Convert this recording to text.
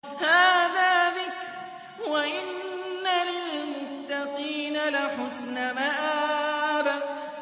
هَٰذَا ذِكْرٌ ۚ وَإِنَّ لِلْمُتَّقِينَ لَحُسْنَ مَآبٍ